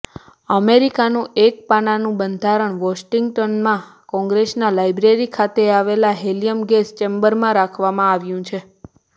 અમેરિકાનું એક પાનાનું બંધારણ વોશિંગ્ટનમાં કોંગ્રેસના લાયબ્રેરી ખાતે આવેલા હેલિયમ ગેસ ચેમ્બરમાં રાખવામાં આવ્યું છે